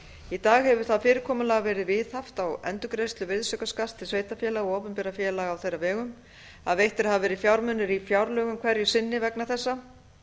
í dag hefur það fyrirkomulag verið viðhaft á endurgreiðslu virðisaukaskatts til sveitarfélaga og opinberra félaga á þeirra vegum að veittir hafa verið fjármunir í fjárlögum hverju sinni vegna þessa